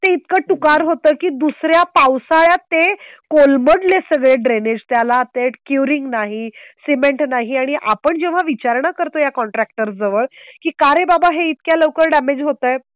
ते इतकं टुकार होतं की दुसर् या पावसाळ्यात ते कोलमडले सगळे ड्रेनेज. त्याला ते क्युरिंग नाही. सिमेंट नाही आणि आपण जेव्हा विचारणा करतो. या कॉन्ट्रॅक्टर जवळ की कारे बाबा हे इतक्या लवकर डॅमेज होत आहे.